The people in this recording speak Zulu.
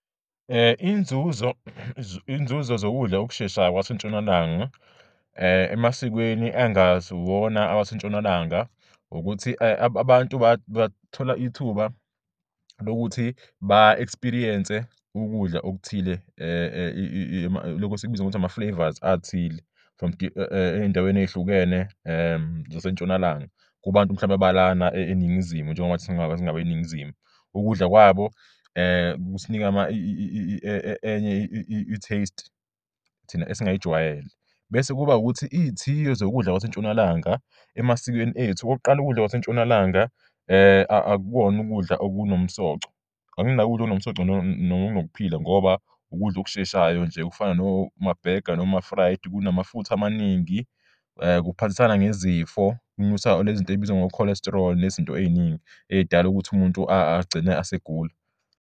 Inzuzo zokudla ukusheshayo kwaseNtshonalanga emasikweni ekungasiwona awaseNtshonalanga ukuthi abantu bathola ithuba lokuthi ba-experience-e ukudla okuthile, lokhu esikubiza ngokuthi ama-flavours athile from ey'ndaweni ey'hlukene zasentshonalanga kubantu mhlawumbe abalana eNingizimu njengoba singabeNingizimu, ukudla kwabo kusinika enye i-taste thina esingayijwayele. Bese kuba ukuthi iy'thiyo zokudla kwaseNtshonalanga emasikweni ethu, okokuqala ukudla kwaseNtshonalanga akuwona ukudla okunomsoco, angina ukudla okunomsoco nokunokuphila ngoba ukudla okusheshayo nje okufana nomabhega noma-fried, kunama futha amaningi, kuphathisana ngezifo, kunyusa le zinto ey'bizwa ngo-cholesterol nezinto ey'ningi ey'dala ukuthi umuntu agcine asegula.